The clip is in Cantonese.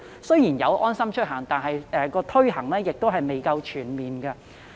雖然現已有"安心出行"應用程式，但推行卻未夠全面。